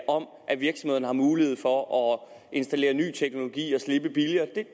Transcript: om at virksomhederne har mulighed for at installere ny teknologi og slippe billigere ikke